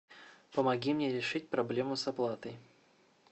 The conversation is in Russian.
помоги мне решить проблему с оплатой